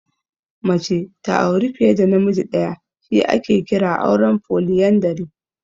Mace ta auri fiye da namiji ɗaya shi ake kira auren Foliyandari.